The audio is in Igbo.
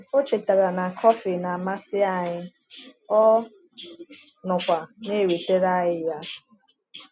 O chetara na kọfị na-amasị anyị, ọ nọkwa na-ewetara anyị ya.